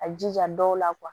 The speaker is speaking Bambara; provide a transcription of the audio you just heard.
A jija dɔw la